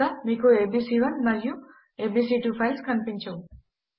ఇక మీకు ఏబీసీ1 మరియు ఏబీసీ2 ఫైల్స్ కనిపించవు